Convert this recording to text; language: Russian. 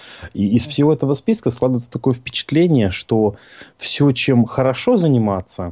из всего этого списка складывается такое впечатление что все чем хорошо заниматься